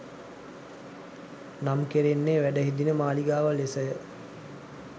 නම් කෙරෙන්නේ වැඩහිඳින මාළිගාව ලෙස ය